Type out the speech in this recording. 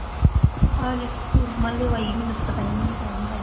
ਆਹ ਮੈਨੂੰ ਤਾਂ ਪਤਾ ਈ ਨੀਂ ਐ ਕੌਣ ਆਇਆ।